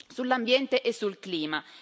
sull'ambiente e sul clima.